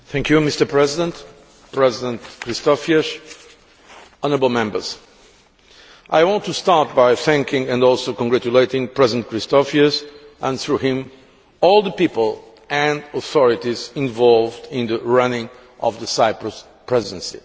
Mr President, President Christofias, honourable Members, I want to start by thanking and also congratulating President Christofias, and through him all the people and authorities involved in the running of the Cyprus Presidency.